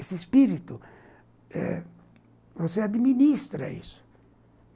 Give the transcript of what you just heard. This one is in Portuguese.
Esse espírito eh, você administra isso.